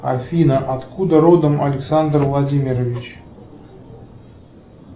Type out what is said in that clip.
афина откуда родом александр владимирович